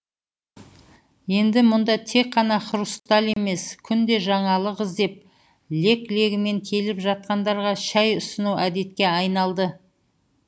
енді мұнда тек қана хрусталь емес күнде жаңалық іздеп лек легімен келіп жатқандарға шай ұсыну әдетке айналды